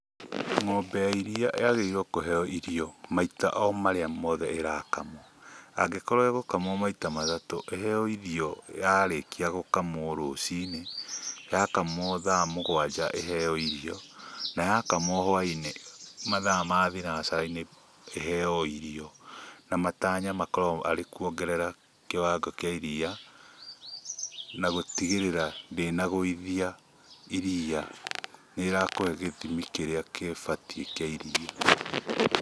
Ng'ombe ya iria yagĩrĩrwo kũheo irio maita o marĩa mothe ĩrakamwo ,angĩkorwo ĩgũkamwo maĩta matatũ iheo irio yarĩkio gũkamwo rũcini ,yakamwo thaa mũgwanja iheo irio na yakamwo hwainĩ mathaa ma thinacarainĩ iheo irio na matanya makorwo arĩ kũongerera kĩwango kĩa iria na gũtigĩrĩra ndĩna gũithia irĩa nĩ ĩrakũhe gĩthimi kĩria gĩbatie kĩa iria.